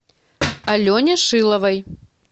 алене шиловой